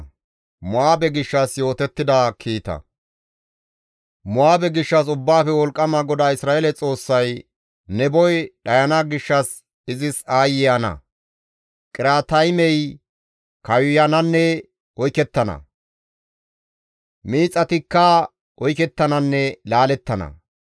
Mo7aabe gishshas Ubbaafe Wolqqama GODAA Isra7eele Xoossay, «Neboy dhayana gishshas izis aayye ana! Qiriyaataymey kawuyananne oykettana; miixatikka oykettananne laalettana.